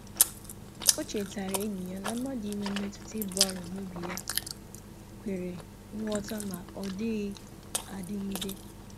O chetara enyi ya na mmadụ inwe mmetụta ibu arọ n'obi ya kwere nghọta ma ọ dịghị adịgide.